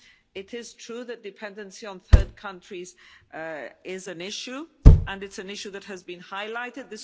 It is true that dependency on third countries is an issue and it's an issue that has been highlighted.